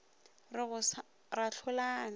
re go sa ra hlolana